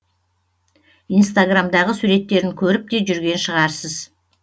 инстаграмдағы суреттерін көріп те жүрген шығарсыз